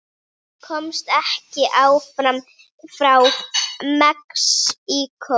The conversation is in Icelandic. Komst ekki aftur frá Mexíkó